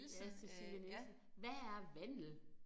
Ja Cecilie Nielsen. Hvad er vandel